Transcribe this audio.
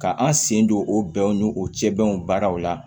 Ka an sen don o bɛnwo o cɛw baaraw la